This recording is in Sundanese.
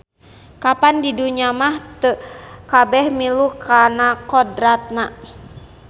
Kapan di dunya mah teu kabeh milu kana kodratna.